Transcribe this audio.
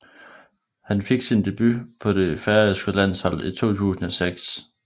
Hun fik sin debut på det færøske landshold i 2006